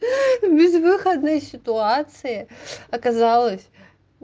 в безвыходной ситуации оказалась